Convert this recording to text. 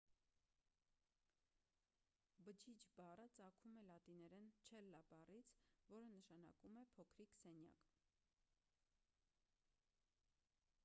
բջիջ բառը ծագում է լատիներեն չելլա բառից որը նշանակում է փոքրիկ սենյակ